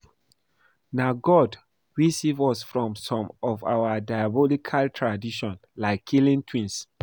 Na God wey save us from some of our diabolical tradition like killing twins